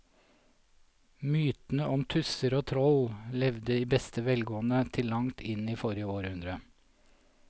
Mytene om tusser og troll levde i beste velgående til langt inn i forrige århundre.